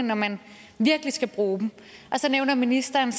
når man virkelig skal bruge dem og så nævner ministeren